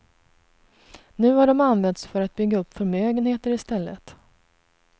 Nu har de använts för att bygga upp förmögenheter i stället.